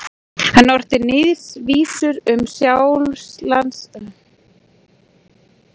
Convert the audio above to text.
Hann orti níðvísur um Sjálandsbiskup.